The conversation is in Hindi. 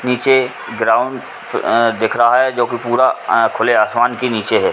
नीचे ग्राउंडस अ दिख रहा है जो कि पूरा अ खुले आसमान के नीचे है।